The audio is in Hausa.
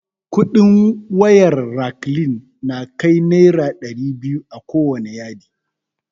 Kudin wayar raklin na kai naira dairi biyu akowane yadi